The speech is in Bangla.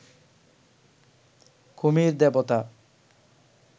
কুমির দেবতা